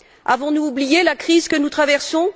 Avons nous oublié la crise que nous traversons?